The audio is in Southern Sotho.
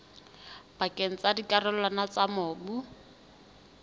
pakeng tsa dikarolwana tsa mobu